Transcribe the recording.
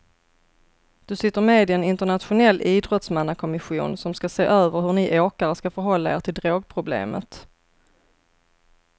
Du sitter med i en internationell idrottsmannakommission som ska se över hur ni åkare ska förhålla er till drogproblemet.